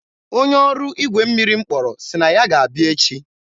onye ọrụ igwe mmiri m kpọrọ sị na ya ga-abịa echi.